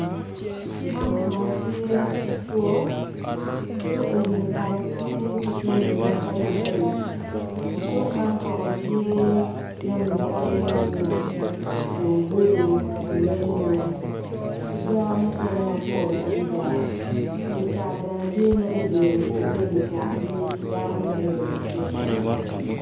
Man kono tye cuk cuk eni kono tye ki jami mapadipadi i cuk man kono tye jami calo nyanya tungulu muyyembe.